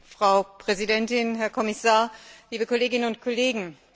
Frau Präsidentin, Herr Kommissar, liebe Kolleginnen und Kollegen!